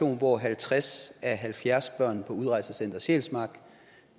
hvor halvtreds af halvfjerds børn på udrejsecenter sjælsmark